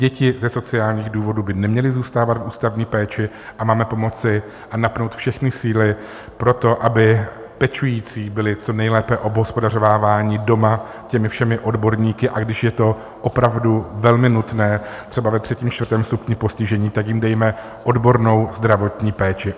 Děti ze sociálních důvodů by neměly zůstávat v ústavní péči a máme pomoci a napnout všechny síly pro to, aby pečující byli co nejlépe obhospodařováváni doma těmi všemi odborníky, a když je to opravdu velmi nutné, třeba ve třetím, čtvrtém stupni postižení, tak jim dejme odbornou zdravotní péči.